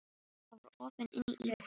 Það var opið inn í íbúðina!